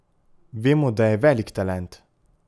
Vemo, da je velik talent.